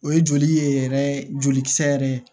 O ye joli ye yɛrɛ jolikisɛ yɛrɛ ye